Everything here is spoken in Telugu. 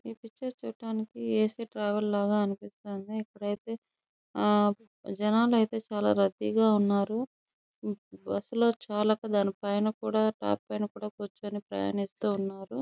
ఈ పిక్చర్ చూడటానికి ఏ.సీ. ట్రావెల్ లాగా అనిపిస్తుంది. ఇక్కడైతే జనాలు అయితే చాల రద్దీగా ఉన్నారు. బస్సు లో చాలక టాప్ పైన కూడా కూచొని ప్రయత్నిస్తూ ఉన్నారు.